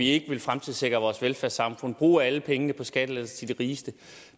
ikke vil fremtidssikre vores velfærdssamfund men bruge alle pengene på skattelettelser til de rigeste